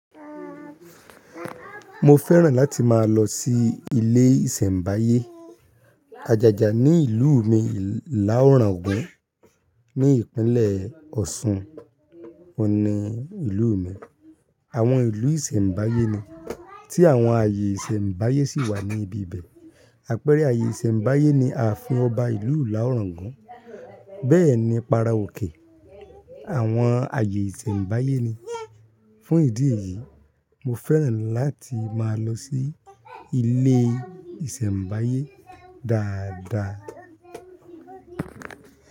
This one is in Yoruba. Mo fẹ́ràn láti máa lọ sí ilé ìsẹ̀mbáyé, ajaja ní ìlú mi ila oragun ní ìpínlẹ̀ Ọ̀ṣun. Ohun ni ìlú mi. Àwọn ìlú ìsẹ̀mbáyé ni tí àwọn ààyè ìsẹ̀mbáyé sì wà ní ibi bẹ̀. Àpẹẹrẹ ààyè ìsẹ̀mbáyé ni a fi ọba ìlú ila orogun Bẹ́ẹ̀ ni para òkè àwọn ààyè ìsẹ̀mbáyé ni. Fún ìdí èyí, mo fẹ́ràn láti máa lọ sí ilé ìsẹ̀mbáyé dáadáa.